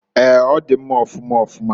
Eeǃ Ọ di mma ọfụma ọfụma.